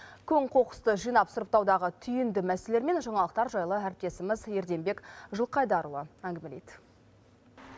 көң қоқысты жинап сұрыптаудағы түйінді мәселелермен жаңалықтар жайлы әріптесіміз ерденбек жылқыайдарұлы әңгімелейді